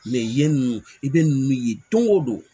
yen i bɛ ninnu ye don o don